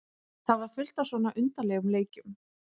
Það var fullt af svona undarlegum leikjum.